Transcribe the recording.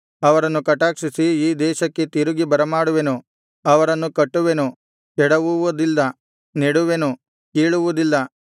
ಅವರನ್ನು ಕಟಾಕ್ಷಿಸಿ ಈ ದೇಶಕ್ಕೆ ತಿರುಗಿ ಬರಮಾಡುವೆನು ಅವರನ್ನು ಕಟ್ಟುವೆನು ಕೆಡವುವದಿಲ್ಲ ನೆಡುವೆನು ಕೀಳುವುದಿಲ್ಲ